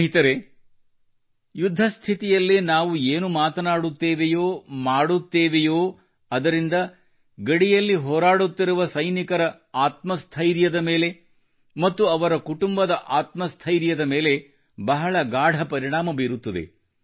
ಸ್ನೇಹಿತರೆ ಯುದ್ಧ ಸ್ಥಿತಿಯಲ್ಲಿ ನಾವು ಏನು ಮಾತನಾಡುತ್ತೇವೆಯೋ ಮಾಡುತ್ತೆವೆಯೋ ಅದರಿಂದ ಗಡಿಯಲ್ಲಿ ಹೋರಾಡುತ್ತಿರುವ ಸೈನಿಕರ ಆತ್ಮ ಸ್ಥೈರ್ಯದ ಮೇಲೆ ಮತ್ತು ಅವರ ಕುಟುಂಬದ ಆತ್ಮ ಸ್ಥೈರ್ಯದ ಮೇಲೆ ಬಹಳ ಗಾಢ ಪರಿಣಾಮ ಬೀರುತ್ತದೆ